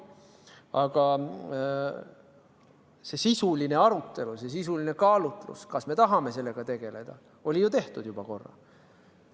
Aga sisuline arutelu, sisuline kaalutlus, kas me tahame sellega tegeleda, oli ju juba korra tehtud.